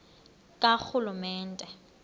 karhulumente